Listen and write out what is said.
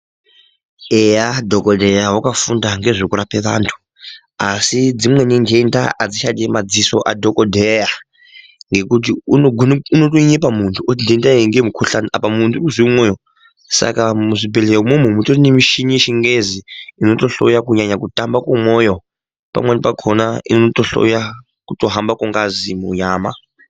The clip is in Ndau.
Eya dhokodheya wakafunda ngekurape vantu asi dzimweni ntenda achichadi madziso adhokodheya ngekuti unogone unotonyepa muntu oti nhenda iyi ngeye mukhuhlani apa muntu uri kuziye mumweyo saka muzvibhedhleya imwomwo mutori nemichini yechingezi inotohloya kunyanya kutamba kwemwoyo pamweni pakhona inotohloya kuhamba kwengazi munyama.